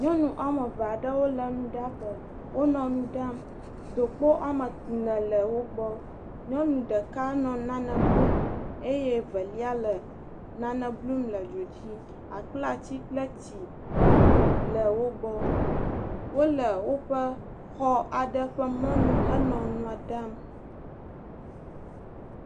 Nyɔnu wɔme eve aɖewo le nuɖaƒe. Wonɔ nu ɖam. Dokpo wɔme ene le wole wo gbɔ. Nyɔnu ɖeka nɔ nane blum eye velia le nane blum le dzo dzi. Akplatsi kple tsi le wo gbɔ. Wole woƒe xɔ aɖe ƒe mɔnu henɔ nua ɖam.